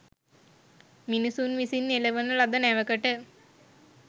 මිනිසුන් විසින් එළවන ලද නැවකට